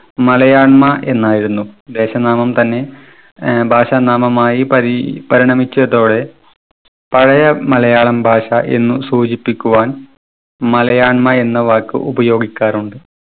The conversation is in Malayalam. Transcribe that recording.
മലയാണ്മ എന്നായിരുന്നു. ദേശനാമം തന്നെ ഏർ ഭാഷാനാമം ആയി പരി പരിണമിച്ചതോടെ പഴയ മലയാളം ഭാഷ എന്നു സൂചിപ്പിക്കുവാൻ മലയാണ്മ എന്ന വാക്ക് ഉപയോഗിക്കാറുണ്ട്.